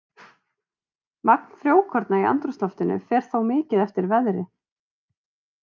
Magn frjókorna í andrúmsloftinu fer þó mikið eftir veðri.